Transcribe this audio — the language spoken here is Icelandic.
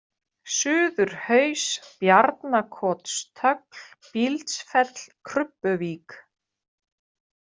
Suðurhaus, Bjarnakotstögl, Bíldsfell, Krubbuvík